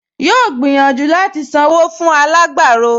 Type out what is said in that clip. Yóò gbìyànjú láti sanwó fún àwọn alágbàro